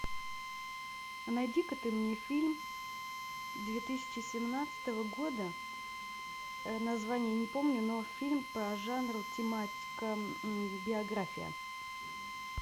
а найди ка ты мне фильм две тысячи семнадцатого года название не помню но фильм по жанру тематика биография